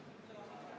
Aitäh!